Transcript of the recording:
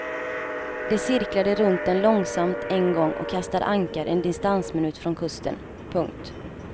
De cirklade runt den långsamt en gång och kastade ankar en distansminut från kusten. punkt